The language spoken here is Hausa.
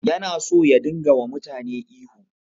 Yana so ya dinga wa mutane ihu